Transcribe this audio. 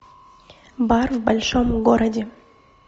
бар в большом городе